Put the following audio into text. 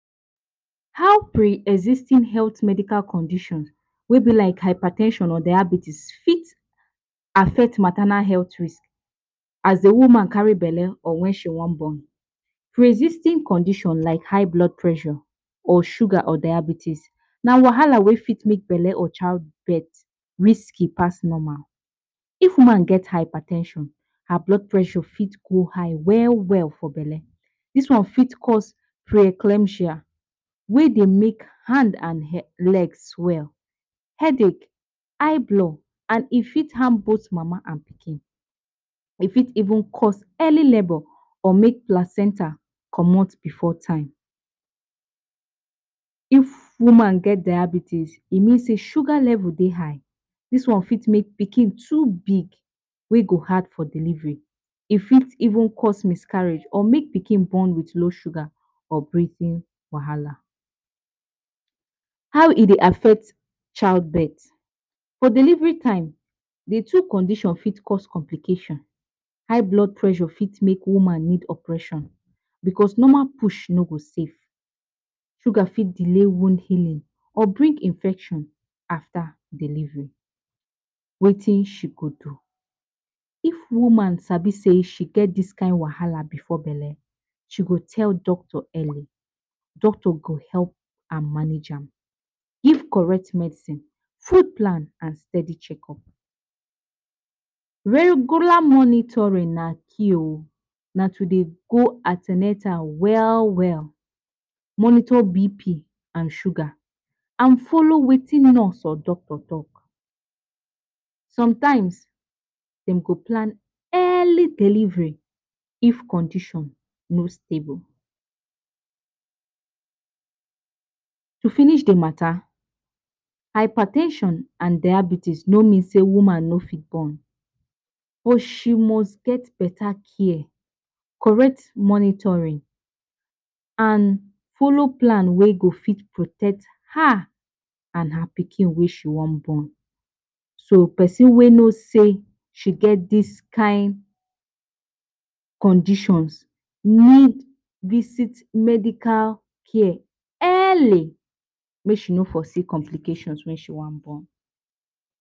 How pre-existing health medical conditions, wey b like hyper ten sion or diabetes, fit affect maternal health risk as the woman carry belle or when she wan born. Pre existing conditions like high blood pressure or sugar or diabetes na wahala wey fit make belle or childbirth risky past normal. If woman get hyper ten sion, her blood pressure fit go high well well. For belle, dis one fit cause preeclampsia, wey dey make hand and legs swell, headache, eyeblow, and it fit harm both mama and pikin. It fit even cause early labour or make placenta comot before time. If woman get diabetes, it mean sey her sugar level high. Dis one fit make pikin too big, and go hard for delivery. E If even cause miscarriage or make the pikin born with low sugar or breathe wahala. How e affect childbirth, For delivery time, d two condition fit cause complication. High blood pressure fit make woman need operation because normal push no go safe. Sugar fit delay wound healing or bring infection after delivery. Wetin she fit do, If woman sabi sey she get this kind wahala before belle, she go tell doctor early. Doctor go help am manage dem. Give correct medicine, food plan, and steady check-up. Regular monitoring na key oh, na to Dey go an ten atal well well. Monitor BP and sugar. And follow Wetin doctor talk. Sometimes dem go plan early delivery if condition no stable. To finish d mata, hyper ten sion and diabetes no mean sey woman no fit born, but she must get better care, correct monitoring, and follow plan wey go fit protect her and her pikin wey she wan born. So persin wey know sey she get this kind conditions, need visit medical care early, make she no foresee complications when she wan born.